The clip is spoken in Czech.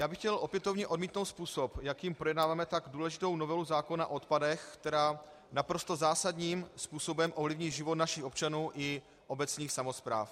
Já bych chtěl opětovně odmítnout způsob, jakým projednáváme tak důležitou novelu zákona o odpadech, která naprosto zásadním způsobem ovlivní život našich občanů i obecních samospráv.